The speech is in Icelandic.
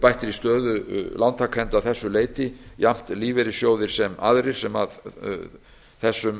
bættri stöðu lántakenda að þessu leyti jafnt lífeyrissjóðir sem aðrir sem þessum